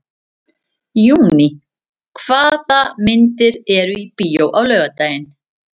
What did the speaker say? Júní, hvaða myndir eru í bíó á laugardaginn?